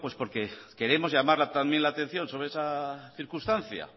porque queremos llamar también la atención sobre esa circunstancia